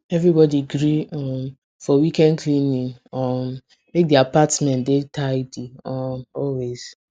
everybody gree um for weekend cleaning um make the apartment dey tidy um always